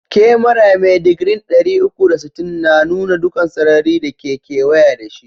Kyamara mai digri'n dari uku da sitin na nuna dukan sarari da ke keweye da shi.